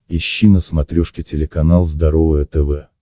ищи на смотрешке телеканал здоровое тв